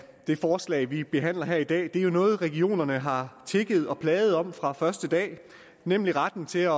det forslag vi behandler her i dag er jo noget regionerne har tigget og plaget om fra første dag nemlig retten til at